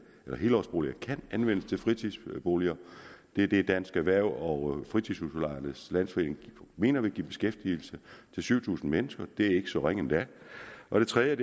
at helårsboliger kan anvendes til fritidsboliger det er det dansk erhverv og fritidshusudlejernes landsforening mener vil give beskæftigelse til syv tusind mennesker det er ikke så ringe endda og det tredje er